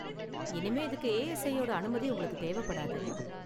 இனிமே இதுக்கு ஏ.எஸ்.ஐ யோட அனுமதி உங்களுக்கு தேவப்படாது.